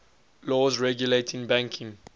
laws regulating banking